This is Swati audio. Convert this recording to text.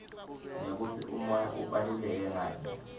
nekutsi umoya ubaluleke ngani